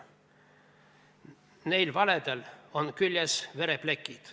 Neil valedel on küljes vereplekid.